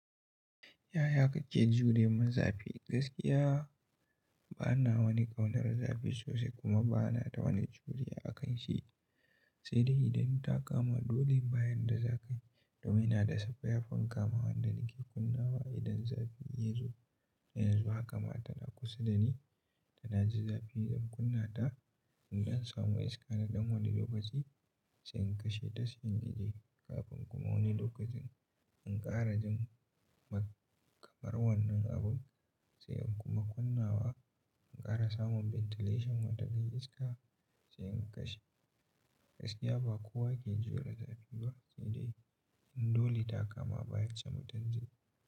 Yaya kake jure ma zafi? Gaskiya ba na wani ƙaunar zafi sosai kuma ba na da wani juriya akan shi. Sai dai idan ta kama dole, ba in da za ka domin ina da su fanka ma wanda nake kunnawa idan zafi ya zo. Yanzu haka ma tana kusa da ni, ina ji zafi zan kunna ta. Idan samu iska na ɗan wani lokaci sai in kashe ta, sai in jie kafin kuma wani lokacin in ƙara jin makamar wannan abun sai in kuma kunna wa, in ƙara samun ventilation wata dan iska, sai in kashe. Gaskiya ba kowa ke jure zafi ba sai dai in dole ta kama baya samu ɗan zafi.